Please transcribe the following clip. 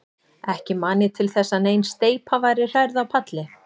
Ekki man ég til þess, að nein steypa væri hrærð á palli.